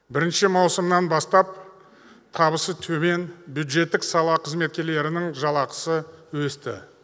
бірінші маусымнан бастап табысы төмен бюджеттік сала қызметкерлерінің жалақысы өсті